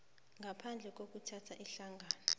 ngaphandle kokuthatha ihlangothi